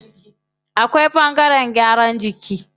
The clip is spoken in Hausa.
Akwai ɓangaren gyaran jiki.